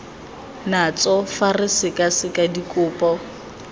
natso fa re sekaseka dikopo